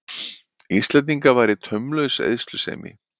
Íslendinga væri taumlaus eyðslusemi.